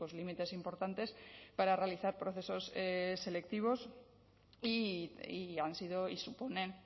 límites importantes para realizar procesos selectivos y han sido y suponen